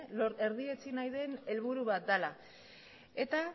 erdietsi nahi den helburu bat dela eta